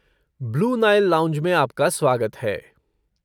Blue Nile lounge में आपका स्वागत है।